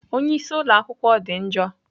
Onye isi ụlọ akwụkwọ dị njọ.